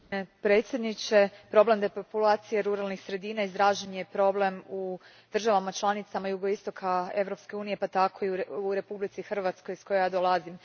Gospodine predsjedniče, problem depopulacije ruralnih sredina izražen je problem u državama članicama jugoistoka Europske unije pa tako i u Republici Hrvatskoj iz koje ja dolazim.